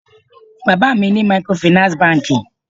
Bàbá mi ni microfinance banki